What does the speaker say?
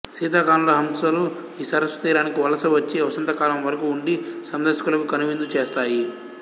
శీతాకాలంలో హంసలు ఈ సరస్సు తీరానికి వలస వచ్చి వసంతకాలం వరకూ వుండి సందర్శకులకు కనువిందు చేస్తాయి